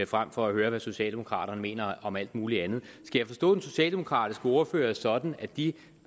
frem for at høre hvad socialdemokraterne mener om alt muligt andet skal jeg forstå den socialdemokratiske ordfører sådan at de